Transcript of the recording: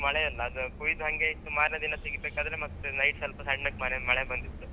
ಜಾಸ್ತಿ ಮಳೆಯಲ್ಲಾ ಅಂದ್ರೆ ಕೊಯ್ದು ಹಂಗೆ ಇಟ್ಟು ಮಾರ್ನೆ ದಿನ ತೆಗಿಬೇಕಾದ್ರೆ ಮತ್ತೆ night ಸ್ವಲ್ಪ ಸಣ್ಣಕೆ ಮಾಡಿ ಒಂದು ಮಳೆ ಬಂದಿತ್ತು.